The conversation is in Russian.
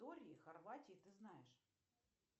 хорватии ты знаешь